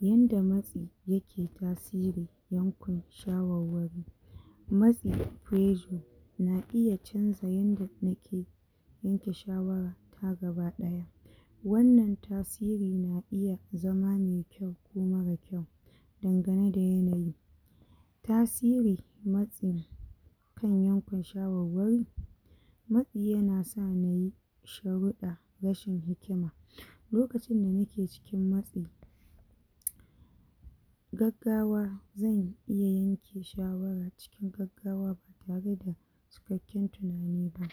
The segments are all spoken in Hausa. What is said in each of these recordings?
Yanda matsi yake tasiri yankun shawarwari matsi pressure na iya canza yanda nake yanke shawara ta gabaɗaya wannan tasiri na iya zama mai kyau ko mara kyau dangane da yanayi tasiri matsin kan yankun shawarwari matsi yana sa mu yi sharuɗɗa rashin hikima, lokacin da nake cikin matsi gaggawa, zan iya yanke shawaran cikin gaggawa ba tare da ba ƙin tunani ba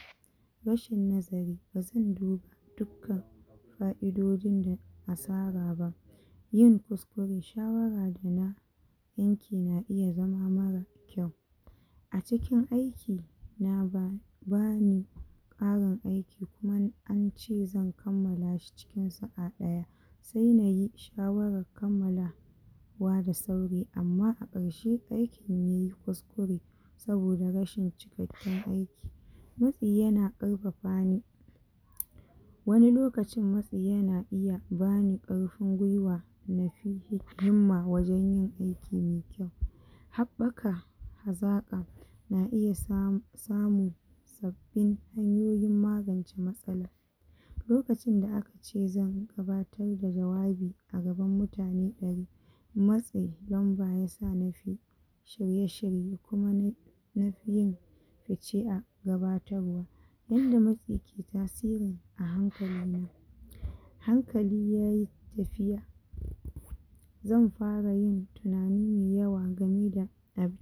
rashin nazari da zan duba dukkan ka'idojin da asara ba yin kuskure shawara da na yanke na iya zama mara kyau a cikin aiki na babba ne ƙarin aiki kuma an ce zan kammala shi cikin sa'a ɗaya sai muyi shawaran kammala wa da sauri amma a ƙarshe aikin yai kuskure saboda rashin cikakken aiki matsi yana ƙarfafa ni wani lokacin matsi yana iya bani ƙarfin gwuiwa mafi yin himma wajen yin aiki mai kyau haɓɓaka hazaƙa na iya samun sabbin hanyoyin magance matsala lokacin da aka ce zan gabatar da jawabi a gaban mutane ɗari matsin lamba yasa na fi shirye-shirye kuma na fi yin fice a gabatarwa yanda matsi ke tasiri a hankali ne hankali yayi tafiya zan fara yin tunani mai yawa game da abin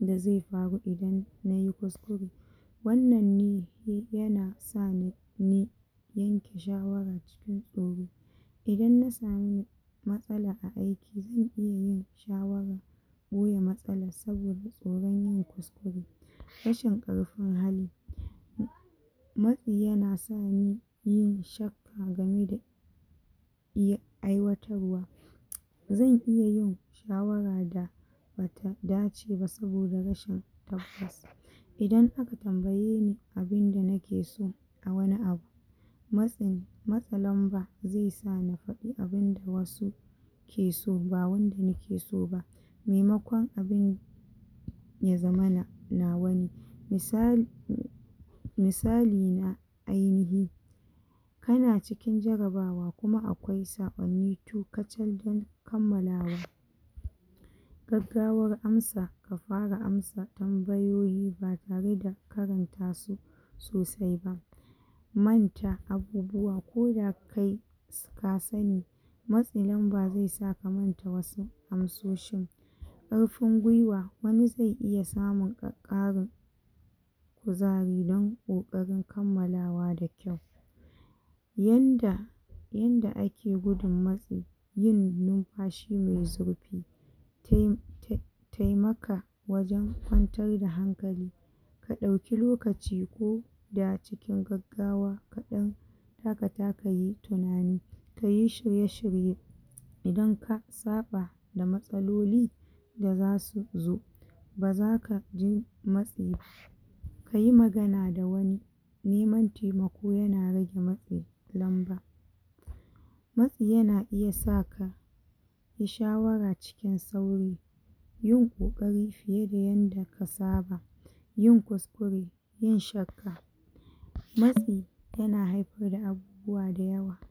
da zai faru idan nai kuskure wannan ne yana sani ni yanke shawaran cikin tsoro idan na samu matsala a aiki zan iya yin shawaran ɓoye matsalan saboda tsoron yin kuskure rashin ƙarfin hali matsi yana sani yin shakka game da ya aiwatarwa zan iya yin shawara da bata dace ba saboda rashin tabbas idan aka tambaye ni abinda nake so a wani abu matsin matsa lamba zai sa na faɗa abinda wasu ke so ba wanda nake so ba maimakon abin ya zamana nawa ne misali misali na ainihi kana cikin jarabawa kuma akwai saƙonni to kacal dan kammalawa gaggawar amsa, ka fara amsa tambayoyi ba tare da karanta su sosai ba manta abubuwa ko da kai ka sani matsin lamba zai sa ka manta wasu amsoshin ƙarfin guiwa wani zai iya samun ƙarin zariran ƙoƙarin kammalawa da kyau yanda inda ake gudun matsi yin numfashi mai zurfi tai ta taimaka wajen kwantar da hankali ka ɗauki lokaci koda cikin gaggawa kaɗan dakata kayi tunani kayi shirye-shirye idan ka saba da matsaloli da zasu zo ba zaka ji matsi ka yi magana da wani neman taimako yana rage matsi, lamba matsi yana iya saka yi shawara cikin sauri yin ƙoƙari fiye da yanda ka saba yin kuskure, yin shakka matsi yana haifar da abubuwa da yawa.